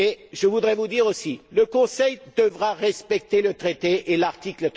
Je voudrais vous dire aussi que le Conseil devra respecter le traité et l'article